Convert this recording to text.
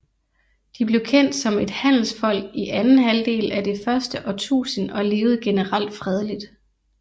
De blev kendt som et handelsfolk i anden halvdel af det første årtusind og levede generelt fredeligt